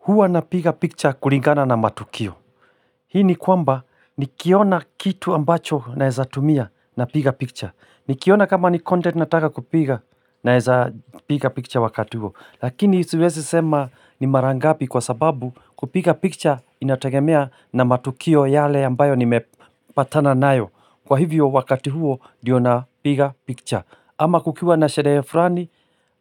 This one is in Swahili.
Huwa napiga picha kulingana na matukio. Hii ni kwamba nikiona kitu ambacho nawezatumia napiga picture. Nikiona kama ni content nataka kupiga naweza piga picture wakati huo. Lakini siwezi sema ni mara ngapi kwa sababu kupiga picture inategemea na matukio yale ambayo nimepatana nayo. Kwa hivyo wakati huo ndiyo na piga picture. Ama kukiwa na sherehe fulani